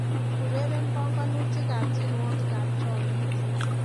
Ureren banganutikab tiewogikab chomiet